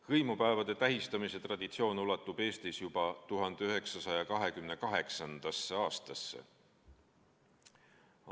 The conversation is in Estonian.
Hõimupäevade tähistamise traditsioon ulatub Eestis juba 1928. aastasse.